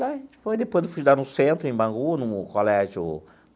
Ah depois fui estudar no centro, em Bangu, no colégio.